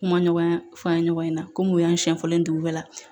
Kuma ɲɔgɔn fɔ an ye ɲɔgɔn ɲɛna komi u y'an siɲɛ fɔlɔ dugu bɛɛ la